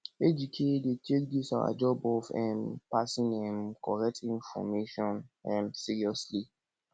ejike dey take dis our job of um passing um correct information um seriously